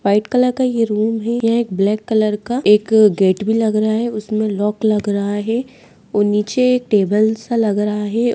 White colour का ये room है यहां एक ब्लैक कलर का एक गेट भी लग रहा है उसमे लॉक लग रहा है और नीचे एक टेबल सा लग रहा है।